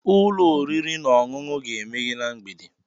Ee, ụlọ oriri na ọṅụṅụ ga-emeghe na mgbede.